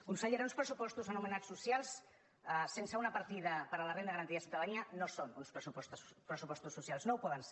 consellera uns pressupostos anomenats socials sense una partida per a la renda garantida de ciutadania no són uns pressupostos socials no ho poden ser